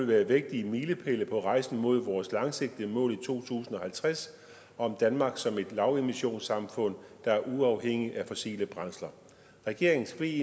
være vigtige milepæle på rejsen mod vores langsigtede mål i to tusind og halvtreds om danmark som et lavemissionssamfund der er uafhængigt af fossile brændsler regeringens ve